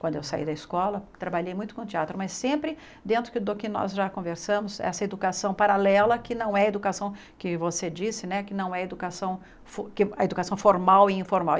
Quando eu saí da escola, trabalhei muito com teatro, mas sempre dentro do que nós já conversamos, essa educação paralela, que não é educação que você disse né, que não é educação fu a educação formal e informal.